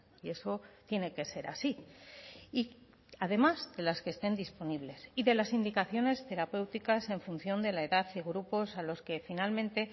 y eso tiene que ser así y además de las que estén disponibles y de las indicaciones terapéuticas en función de la edad y grupos a los que finalmente